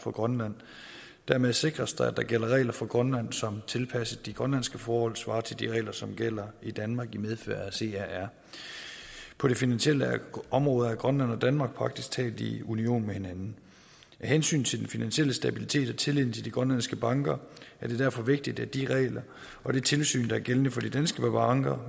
for grønland dermed sikres det at der gælder regler for grønland som tilpasset de grønlandske forhold svarer til de regler som gælder i danmark i medfør af crr på det finansielle område er grønland og danmark praktisk taget i union med hinanden af hensyn til den finansielle stabilitet og tilliden til de grønlandske banker er det derfor vigtigt at de regler og det tilsyn der er gældende for de danske banker